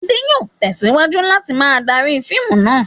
Adé yóò tẹ̀síwájú láti máa darí fíìmù náà.